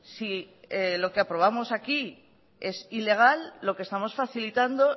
si lo que aprobamos aquí es ilegal lo que estamos facilitando